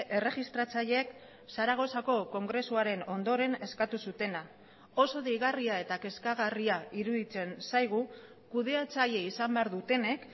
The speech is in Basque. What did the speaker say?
erregistratzaileek zaragozako kongresuaren ondoren eskatu zutena oso deigarria eta kezkagarria iruditzen zaigu kudeatzaile izan behar dutenek